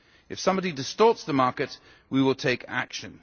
If somebody distorts the market, we will take action.